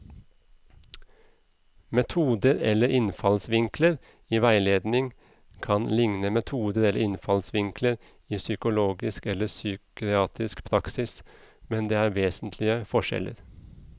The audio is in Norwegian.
Metoder eller innfallsvinkler i veiledning kan likne metoder eller innfallsvinkler i psykologisk eller psykiatrisk praksis, men det er vesentlige forskjeller.